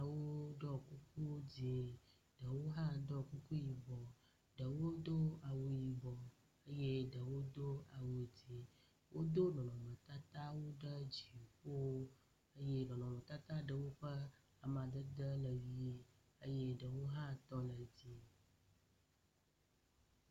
Nyɔnuwo ɖɔ kukuwo dzɛ̃ ɖewo hã ɖɔ kuku yibɔ ɖewo do awu yibɔ eye ɖewo do awu dzɛ̃. Wodo nɔnɔmetatawo ɖe dziƒo eye nɔnɔmetata ɖewo ƒe amadede le ʋi eye ɖewo hã tɔ le dzɛ̃.